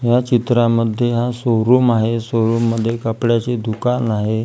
या चित्रामध्ये हा शोरुम आहे शोरुम मध्ये कपड्याचे दुकान आहे.